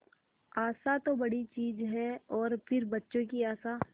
आशा तो बड़ी चीज है और फिर बच्चों की आशा